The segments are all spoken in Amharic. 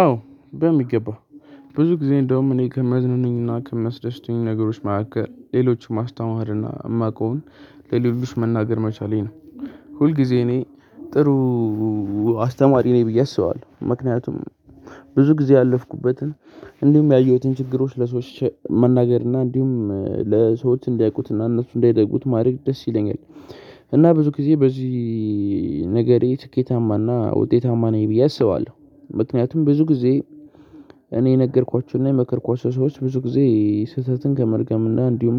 አዎ በሚገባ ብዙ ጊዜ እንደውም እኔን ከመዝናኑኝና ከምያስደስቱኛ ነገሮች መካከል ሌሎችን ማስታማርና የማውቀውን ለሌሎች መናገር መቻሌ ነው። ሁልጊዜ እኔ ጥሩ አስተማሪ ነኝ ብዬ አስባለሁ ምክንያቱም። ብዙ ጊዜ ያለፍኩበትን እንዲሁም ያየሁትን ችግሮች ለሰዎች መናገር እና እንዲሁም ለሰዎች እንዳያውቁት እና እነሱ እንዳይደግሙት ማድረግ ደስ ይለኛል። እና ብዙ ጊዜ በዚህ ነገሬ ስኬታማና ውጤታማ ነኝ ብዬ አስባለሁ ምክንያቱም ብዙ ጊዜ። እኔ የነገርኳችሁና የመከርኳችሁ ሰዎች ብዙ ጊዜ ስህተትን ከመድገም እና እንዲሁም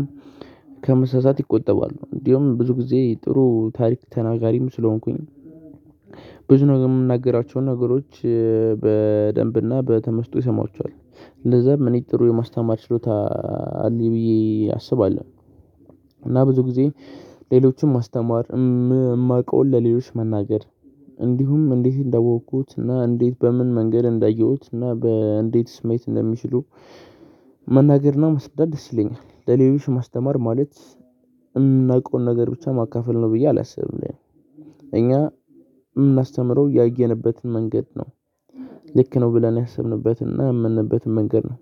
ከመሳሳት ይቆጠባሉ። እንዲሁም ብዙ ጊዜ ጥሩ ታሪክ ተናጋሪም ስለሆንኩኝ ብዙ ነገር የምናገራቸውን ነገሮች በደንብና በተመስጦ ይሰማቸዋል እንደዛ ምን ጥሩ የማስተማር ችሎታ አለኝ ብዬ አስባለሁ። እና ብዙ ጊዜ ሌሎችን ማስተማር የማውቀውን ለሌሎች መናገር እንዲሁም እንዴት እንዳወኩት እና እንዴት በምን መንገድ እንዳየሁት እና በእንዴት ማዬት እንደሚችሉ መናገር መስረዳት ደስይለኛል። ለሌሎች ማስተማር ማለት የምናቀውን ነገር ብቻ ማካፈል ነው ብዬ አላስብም። እኔ እኛ የምናስተምረው ያየንበትን መንገድ ነው። ልክ ነው ብለን ያሰብንበትና የምንበትን መንገድ ነው።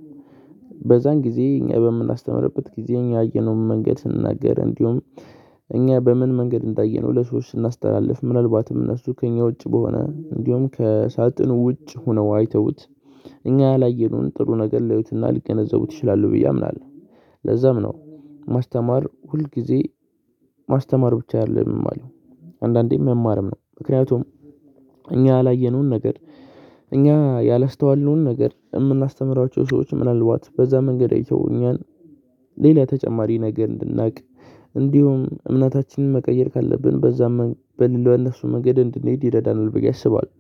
በዛን ጊዜ እኛ በምናስተምርበት ጊዜ እኛ ያየነውን መንገድ ስንናገር እንዲሁም እኛ በምን መንገድ እንዳየነው ለሰዎች ስናስተላልፍ ምናልባትም እነሱ ከእኛ ውጪ በሆነ እንዲሁም ከሳጥን ውጭ ሆነው አይተውት እኛ ያላየኑን ጥሩ ነገር ልያዩትና ሊገነዘቡት ይችላሉ ብዬ አምናለሁ። ለዛም ነው ማስተማር ሁል ጊዜ ማስተማር ብቻ አይደለም የማለው አንዳንዴም መማርም ነው። ምክንያቱም እኛ ያላየነውን ነገር እኛ ያላስተዋልነውን ነገር የምናስተምራቸው ሰዎች ምናልባት በዛ መንገድ አይቶ ሌላ ተጨማሪ ነገር እንድናቅ እንዲሁም እምነታችንን መቀየር ካለብን በዛም በሌላው በነሱ መንገድ እንድንሄድ ይረዳናል ብዬ አስባለሁ።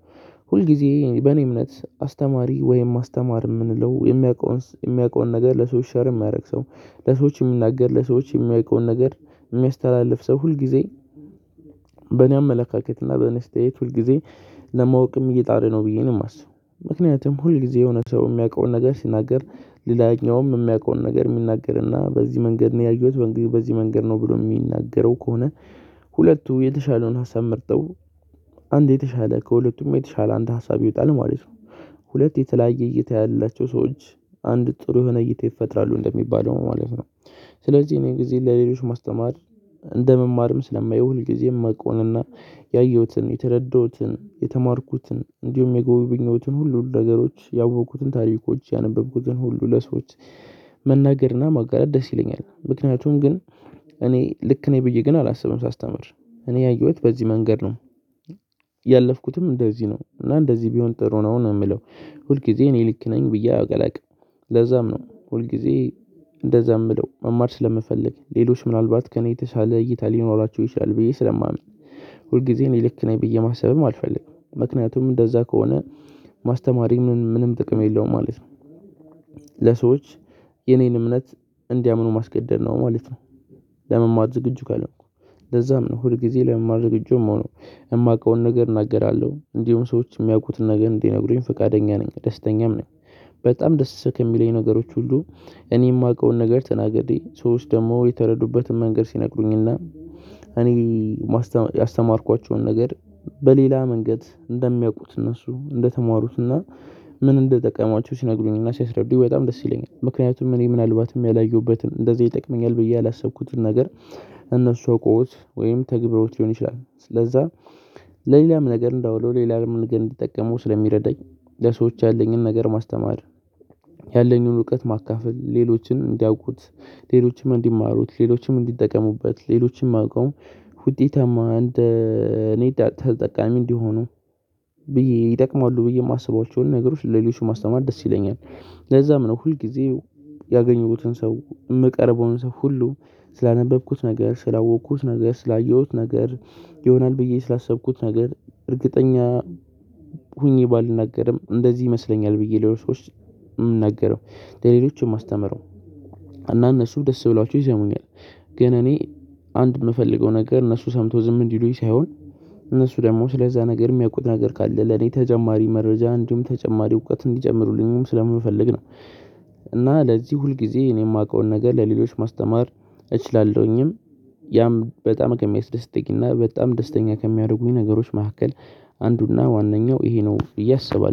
ሁል ጊዜ በእኔ እምነት አስተማሪ ወይም አስተማር የምንለው የሚያውቀውን የሚያውቀውን ነገር ለሰዎች ሼር የማያደርግ ሰው ለሰዎች የሚናገር ለሰዎች የሚያውቀውን ነገር የሚያስተላልፍ ሰው ሁልጊዜ በእኔ አመለካከት እና በእኔ ስቴት ሁልጊዜ ለማወቅም እየጣረ ነው ብዬ ነው የማስበው። ምክንያቱም ሁል ጊዜ የሆነ ሰው የሚያውቀውን ነገር ሲናገር ሌላኛውም የሚያውቀውን ነገር የሚናገርና በዚህ መንገድ ነው ያየሁት በዚህ መንገድ ነው ብሎ የሚናገረው ከሆነ ሁለቱ የተሻለውን ሀሳብ ምርጠው አንድ የተሻለ ከሁለቱም የተሻለ አንድ ሀሳብ ይወጣል ማለት ነው። ሁለት የተለያየ እይታ ያላቸው ሰዎች አንድ ጥሩ የሆነ እይታ ይፈጥራሉ እንደሚባለው ማለት ነው። ስለዚህ እኔ ሁልጊዜ ለሌሎች ማስተማር እንደመማርም ስለማየው ሁልጊዜም የመቆውንና ያየሁትን የተረዳሁትን የተማርኩትን እንዲሁም የጎበኘሁትን ሁሉ ነገሮች ያወቅኩትን ታሪኮች ያነበብኩትን ሁሉ ለሰዎች መናገርና ማጋለጥ ደስ ይለኛል። ምክንያቱም ግን እኔ ልክ ነኝ ብዬ ግን አላስብም ሳስተምር እኔ ያየሁት በዚህ መንገድ ነው። ያለፍኩትም እንደዚህ ነው እና እንደዚህ ቢሆን ጥሩ ነው ነው የምለው። ሁል ጊዜ እኔ ልክ ነኝ ብዬ አላቅም። ለዛም ነው ሁል ጊዜ እንደዛ የምለው መማር ስለምፈልግ ሌሎች ምናልባት ከእኔ የተሻለ እይታ ሊኖራቸው ይችላል ብዬ ስለማምን። ሁል ጊዜ እኔ ልክ ነኝ ብዬ ማሰብም አልፈልግም ምክንያቱም እንደዛ ከሆነ ማስተማሪም ምንም ጥቅም የለውም ማለት ነው። ለሰዎች የኔን እምነት እንዲያምኑ ማስገደድ ነው ማለት ነው። ለመማር ዝግጁ ካልሆንኩ ለዛም ነው ሁል ጊዜ ለመማር ዝግጁ የምሆኖ የማውቀውን ነገር እናገራለሁ እንዲሁም ሰዎች የሚያውቁትን ነገር እንዲነግሩኝ ፈቃደኛ ነኝ ደስተኛም ነኝ። በጣም ደስ ከምሉኝ ነገሮች ሁሉ እኔ የማውቀውን ነገር ተናግሬ ሰዎች ደግሞ የተረዱበትን መንገድ ሲነግሩኝና እኔ ያስተማርኳቸውን ነገር በሌላ መንገድ እንደሚያውቁት እነሱ እንደተማሩትና ምን እንደጠቀማችሁ ሲነግሩኝና ሲያስረዱ በጣም ደስ ይለኛል። ምክንያቱም እኔ ምናልባትም ያላየሁበትን እንደዚህ ይጠቅመኛል ብዬ ያላሰብኩትን ነገር እነሱ አውቆት ወይም ተግብሮት ሊሆን ይችላል ስለዛ። ለሌላም ነገር እንደው ሌላም ነገር እንዲጠቀሙ ስለሚረዳኝ ለሰዎች ያለኝን ነገር ማስተማር። ያለኝን እውቀት ማካፈል ሌሎችን እንዲያውቁት ሌሎችም እንዲማሩት ሌሎችም እንዲጠቀሙበት ሌሎች የማቀው ውጤታማ እንደ እኔ ተጠቃሚ እንዲሆኑ ብዬ ይጠቅማሉ ብዬ የማስባቸውን ነገሮች ለሌሎች ማስተማር ደስ ይለኛል። ለዛም ነው ሁልጊዜው ያገኘሁትን ሰው የምቀርበውን ሰው ሁሉ ስላነበብኩት ነገር ስላወቅኩት ነገር ስላየሁት ነገር ይሆናል ብዬ ስላሰብኩት ነገር እርግጠኛ ሆኜ ባልናገርም እንደዚህ ይመስለኛል ብዬ ለሰዎች የሚናገረው ለሌሎችም የማስተምረው እና እነሱም ደስ ብላቾ ይሰሙኛል። ግን እኔ አንድ የምፈልገው ነገር እነሱ ሰምቶ ዝም እንድሉኝ ሳይሆን እነሱ ደግሞ ስለዛ ነገር የሚያውቁት ነገር ካለ ለኔ ተጨማሪ መረጃ እንዲሁም ተጨማሪ እውቀት እንዲጨምሩልኝም ስለምንፈልግ ነው። እና ለዚህ ሁልጊዜ እኔ የማውቀውን ነገር ለሌሎች ማስተማር እችላለሁኝም። ያም በጣም ከሚያስደስተኝና በጣም ደስተኛ ከሚያደርጉኝ ነገሮች መካከል አንዱና ዋናኛው እሄ ነው ብዬ አስባለሁ